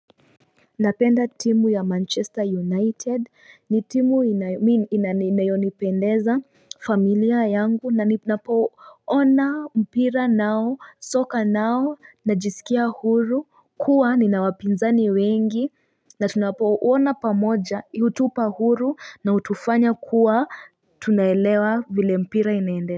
Napenda timu ya manchester united ni timu inayonipendeza familia yangu na nipoona mpira nao soka nao najisikia huru kuwa ninawapinzani wengi na tunapoona pamoja utupa huru na utufanya kuwa tunaelewa vile mpira inaende.